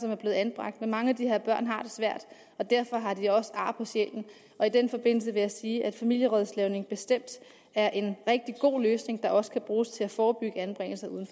er blevet anbragt men mange af de her børn har det svært og derfor har de også ar på sjælen og i den forbindelse vil jeg sige at familierådslagning bestemt er en rigtig god løsning der også kan bruges til at forebygge anbringelse uden